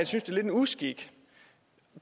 synes det er en uskik